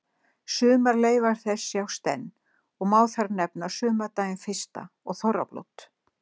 Sumar leifar þess sjást enn og má þar nefna sumardaginn fyrsta og þorrablót.